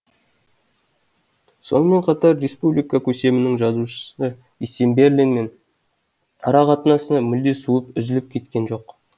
сонымен қатар республика көсемінің жазушы есенберлинмен ара қатынасы мүлде суып үзіліп те кеткен жоқ